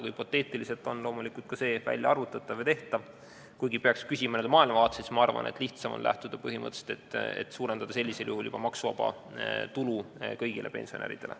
Hüpoteetiliselt on loomulikult kõike võimalik välja arvutada ja teha, kuigi, kui peaks küsima n-ö maailmavaateliselt, siis ma arvan, et sel juhul on lihtsam lähtuda põhimõttest, et maksuvaba tulu tuleks suurendada kõigil pensionäridel.